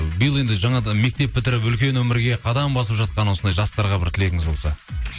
биыл енді жаңадан мектеп бітіріп үлкен өмірге қадам басып жатқан осындай жастарға бір тілегіңіз болса